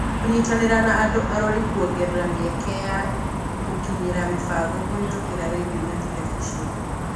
Kũnyitanĩra na andũ arori kũongerera mĩeke ya kũkinyira mĩbango kũhetũkĩra rendio na terebiceni.